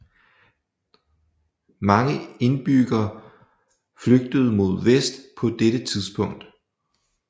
Mange indbyggere flygtede mod vest på dette tidspunkt